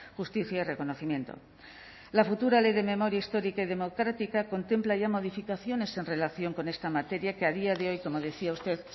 justicia y reconocimiento la futura ley de memoria histórica y democrática contempla ya modificaciones en relación con esta materia que a día de hoy como decía usted